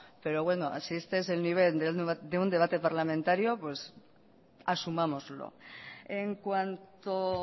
pero bueno si este es el nivel de un debate parlamentario pues asumámoslo en cuanto